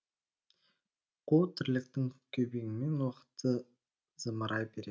қу тірліктің күйбеңімен уақыт зымырай береді